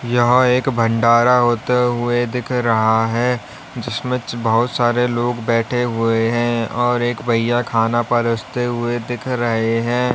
यहां एक भंडारा होते हुए दिख रहा है जिसमें बहुत सारे लोग बैठे हुए हैं और एक भैया खाना परोसते हुए दिख रहे हैं।